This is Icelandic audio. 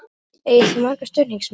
Eigið þið marga stuðningsmenn?